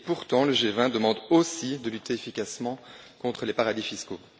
Pourtant le G20 demande aussi de lutter efficacement contre les paradis fiscaux.